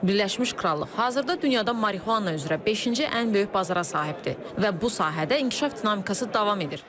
Birləşmiş Krallıq hazırda dünyada marihuana üzrə beşinci ən böyük bazara sahibdir və bu sahədə inkişaf dinamikası davam edir.